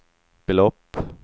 belopp